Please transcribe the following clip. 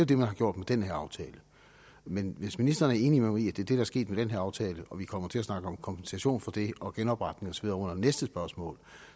det man har gjort med den her aftale men hvis ministeren er enig med mig i det der er sket med den her aftale og at vi kommer til at snakke om kompensation for det og genopretning og så videre under næste spørgsmål